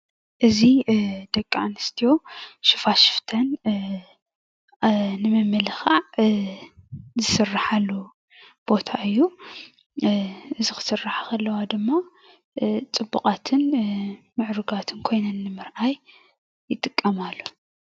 እዚ ደቂ ኣንስትዮ ሽፋሽፍተን ንምምልኻዕ ዝስራሓሉ ቦታ እዩ። እዚ ክስርሓ ከለዋ ድማ ፅቡቓትን ምዕሩጋትን ኮይነን ንምርኣይ ይጥቀማሉ፡፡